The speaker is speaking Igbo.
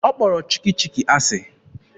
Ọ kpọrọ Chikki Chikki asị.